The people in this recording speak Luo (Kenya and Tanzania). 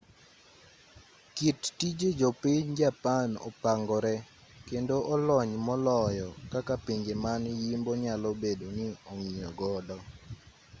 kit tije jopiny japan opangore kendo olony moloyo kaka pinje man yimbo nyalo bedo ni ong'iyogodo